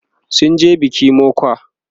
sunje biki mokwa